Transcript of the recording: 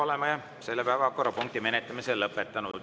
Oleme selle päevakorrapunkti menetlemise lõpetanud.